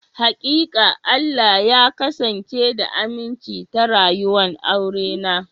Hakika, Allah ya kasance da aminci ta rayuwa'n aure na.